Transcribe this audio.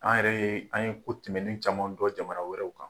An yɛrɛ ye an ye ko tɛmɛnen caman dɔn jamana wɛrɛw kan.